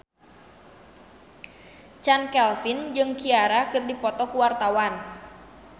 Chand Kelvin jeung Ciara keur dipoto ku wartawan